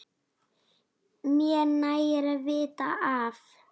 Mér nægir að vita af